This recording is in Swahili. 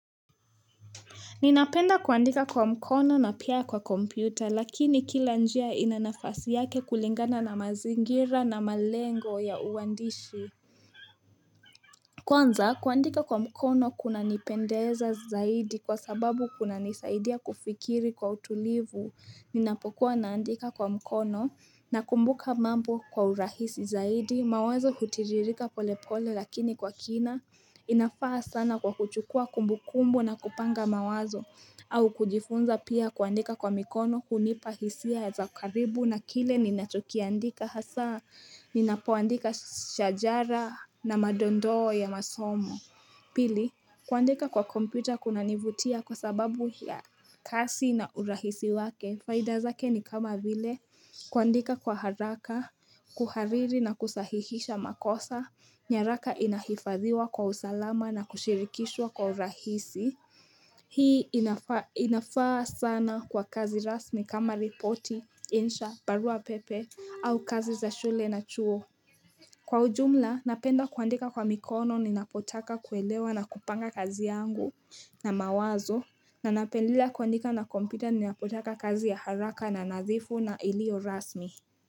Ninapenda kuandika kwa mkono na pia kwa kompyuta lakini kila njia ina nafasi yake kulingana na mazingira na malengo ya uwandishi. Kwanza kuandika kwa mkono kuna nipendeza zaidi kwa sababu kuna nisaidia kufikiri kwa utulivu, ninapokuwa naandika kwa mkono na kumbuka mambo kwa urahisi zaidi, mawazo hutiririka pole pole lakini kwa kina inafaa sana kwa kuchukua kumbukumbu na kupanga mawazo au kujifunza pia kuandika kwa mikono kunipahisia za karibu na kile ninatukiandika hasa Ninapoandika shajara na madondo ya masomo Pili, kuandika kwa kompyuta kuna nivutia kwa sababu ya kasi na urahisi wake Faidazake ni kama vile kuandika kwa haraka, kuhariri na kusahihisha makosa nyaraka inahifadhiwa kwa usalama na kushirikishwa kwa urahisi Hii inafaa sana kwa kazi rasmi kama ripoti, insha, barua pepe au kazi za shule na chuo Kwa ujumla, napenda kuandika kwa mikono ninapotaka kuelewa na kupanga kazi yangu na mawazo Nanapendelea kuandika na kompita ni napotaka kazi ya haraka na nadhifu na ilio rasmi.